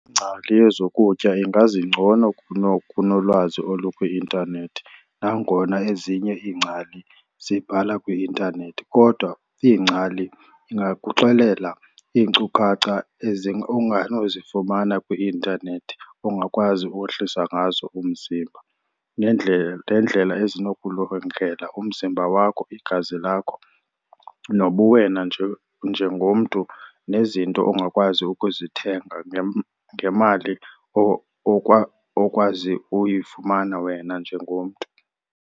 Ingcali yezokutya ingazi ngcono kunolwazi olukwi-intanethi. Nangona ezinye iingcali zibhala kwi-intanethi kodwa ingcali ingakuxelela iinkcukacha onganozifumana kwi-intanethi ongakwazi ukwehlisa ngazo umzimba. Neendlela ezinokulungela umzimba wakho, igazi lakho nobuwena nje njengomntu, nezinto ongakwazi ukuzithenga ngemali okwazi uyifumana wena njengomntu.